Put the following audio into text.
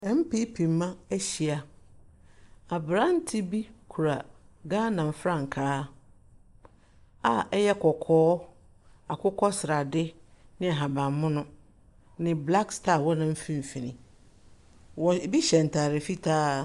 Ɛnpipi mba ehyia, aberante bi kura Ghana frankaa a ɛyɛ kɔkɔɔ, akokɔsrade ne ahabanmono ne blak staa wɔ ne mfinfini. Ebi hyɛ ntaade fitaa.